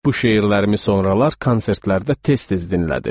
Bu şeirlərimi sonralar konsertlərdə tez-tez dinlədim.